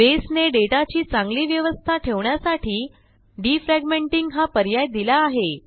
बसे ने डेटाची चांगली व्यवस्था ठेवण्यासाठी डिफ्रॅगमेंटिंग हा पर्याय दिला आहे